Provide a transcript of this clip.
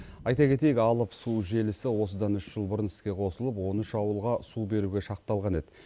айта кетейік алып су желісі осыдан үш жыл бұрын іске қосылып он үш ауылға су беруге шақталған еді